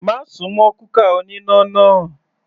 Má súnmọ́ kúkà oníná náà.